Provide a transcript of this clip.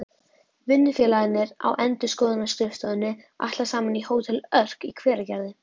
Vinnufélagarnir á endurskoðunarskrifstofunni ætla saman á Hótel Örk í Hveragerði.